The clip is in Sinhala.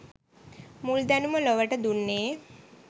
මුල් දැනුම ලොවට දුන්නේ